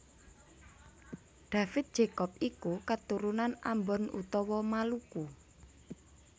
David Jacobs iku katurunan Ambon utawa Maluku